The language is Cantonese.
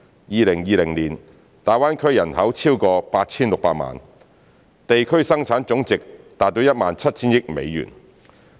2020年，大灣區人口超過 8,600 萬，地區生產總值達 17,000 億美元。